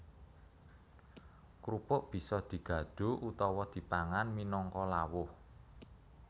Krupuk bisa digadho utawa dipangan minangka lawuh